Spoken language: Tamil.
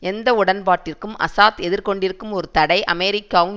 எந்த உடன்பாட்டிற்கும் அசாத் எதிர்கொண்டிருக்கும் ஒரு தடை அமெரிக்காவும்